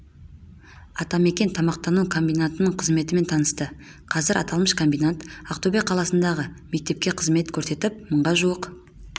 атамекен тамақтану комбинатының қызметімен танысты қазір аталмыш комбинат ақтөбе қаласындағы мектепте қызмет көрсетіп мыңға жуық